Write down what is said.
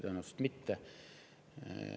Tõenäoliselt mitte.